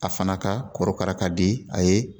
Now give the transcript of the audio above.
A fana ka korokara ka di a ye